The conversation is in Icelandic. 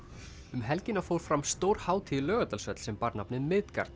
um helgina fór fram stór hátíð í Laugardalshöll sem bar nafnið